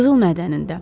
Qızıl mədənində.